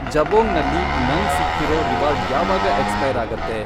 ಜಬೊಂಗ್ ನಲ್ಲಿ ನಂಗ್ ಸಿಕ್ಕಿರೋ ರಿವಾರ್ಡ್ ಯಾವಾಗ ಎಕ್ಸ್ಪೈರ್ ಆಗತ್ತೆ?